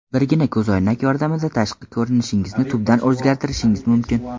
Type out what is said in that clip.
Birgina ko‘zoynak yordamida tashqi ko‘rinishingizni tubdan o‘zgartirishingiz mumkin.